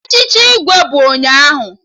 Echichi Igwe ahụ bụ ụnyaahụ